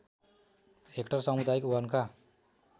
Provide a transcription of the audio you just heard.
hectare सामुदायिक वनका